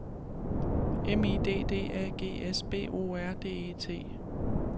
M I D D A G S B O R D E T